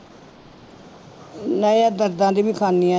ਨਹੀਂ ਉਹ ਦਰਦਾਂ ਦੀ ਵੀ ਖਾਂਦੀ ਹਾਂ।